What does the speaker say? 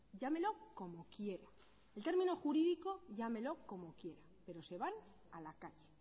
llámelo como quiera en término jurídico llámelo como quiera pero se van a la calle